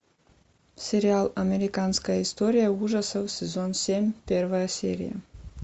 сериал американская история ужасов сезон семь первая серия